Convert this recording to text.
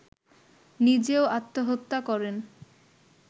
নিজেও আত্মহত্যা করেন